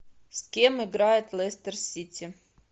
с кем играет лестер сити